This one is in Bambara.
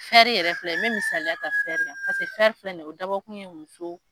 yɛrɛ filɛ ye n bɛ misaliya ta kan pase filɛ nin ye o dabɔ kun ye muso.